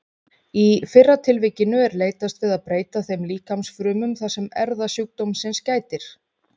Í fyrra tilvikinu er leitast við að breyta þeim líkamsfrumum þar sem erfðasjúkdómsins gætir.